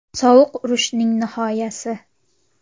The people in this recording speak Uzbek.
Sovuq urushning nihoyasi.